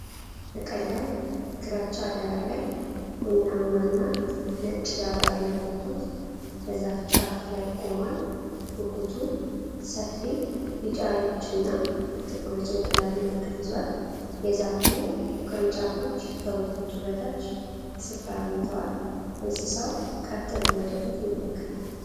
በቀላል ግራጫ ዳራ ላይ፣ ቡናማ እና ነጭ ላባ ያለው ጉጉት በዛፍ ጫፍ ላይ ቆሟል። ጉጉቱ ሰፊ ቢጫ ዓይኖች እና ጥቁር የጭንቅላት ምልክት ይዟል። የዛፉ ቅርንጫፎች ከጉጉቱ በታች ስፍራ አግኝተዋል። እንስሳው ቀጥ ብሎ ወደ ፊት ይመለከታል።